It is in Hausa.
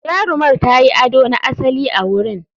Jarumar ta yi ado na asali a wurin.